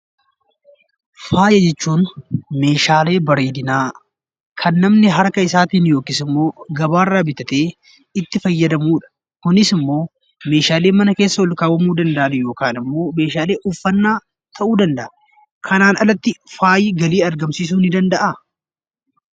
Faaya jechuun meeshaalee bareedinaa kan namni harka isaatiin yookis immoo gabaarraa bitatee itti fayyadamuudha. Kunis immoo meeshaalee mana keessa olkaawamuu danda'an yookan immoo meeshaalee uffanaa ta'uu danda'a. Kanaan alatti faayi galii argamsiisuu nii danda'aa?